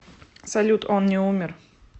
салют он не умер